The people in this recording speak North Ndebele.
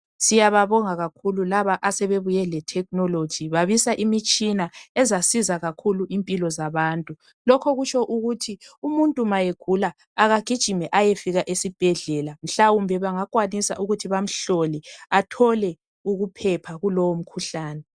Siyababonga kakhulu laba asebebuye le thekhinoloji, babisa imitshina ezasiza kakhulu impilo zabantu. Lokho kutsho ukuthi umuntu ma egula akagijime ayefika esibhedlela mhlawumbe bangakwanisa ukuthi bamhlole athole ukuphepha kulowo mkhuhlane.